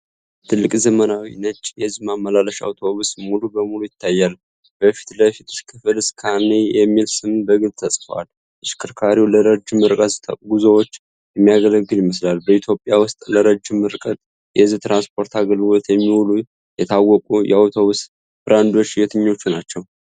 ትልቅ ዘመናዊ ነጭ የህዝብ ማመላለሻ አውቶቡስ ሙሉ በሙሉ ይታያል። በፊት ለፊት ክፍል "SCANIA" የሚል ስም በግልጽ ተጽፏል። ተሽከርካሪው ለረጅም ርቀት ጉዞዎች የሚያገለግል ይመስላል። በኢትዮጵያ ውስጥ ለረጅም ርቀት የህዝብ ትራንስፖርት አገልግሎት የሚውሉ የታወቁ የአውቶቡስ ብራንዶች የትኞቹ ናቸው?